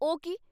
ਉਹ ਕੀ?